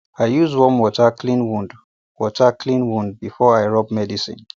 i use warm water clean wound water clean wound before i rub medicine